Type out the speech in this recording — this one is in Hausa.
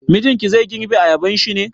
Mijinki zai girbe ayabanshi ne?